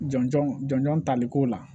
Jɔn jɔn jɔn taliko la